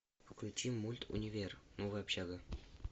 включи мульт универ новая общага